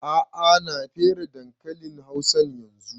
A'a ya na fere dankalin hausan yanzun